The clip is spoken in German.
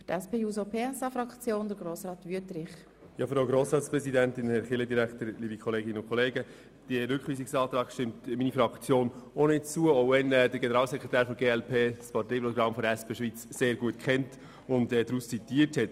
Diesem Rückweisungsantrag stimmt meine Fraktion ebenfalls nicht zu, auch wenn der Generalsekretär der glp das Parteiprogramm der SP Schweiz sehr gut kennt und daraus zitiert hat.